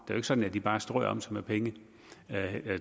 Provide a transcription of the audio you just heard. jo ikke sådan at de bare strøer om sig med penge